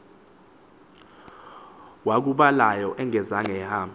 wakubhalayo engazange ahambe